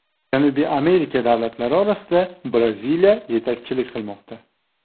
Janubiy Amerika davlatlari orasida Braziliya yetakchilik qilmoqda.